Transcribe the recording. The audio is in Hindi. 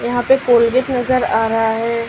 यहां पे कोलगेट नजर आ रहा है।